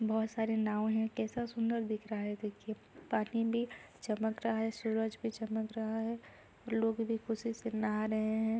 बोहोत सारे नांव हैं कैसा सुंन्दर दिख रहा है देखिये पानी भी चमक रहा है सूरज भी चमक रहा है। लोग भी खुशी से नहा रहें हैं।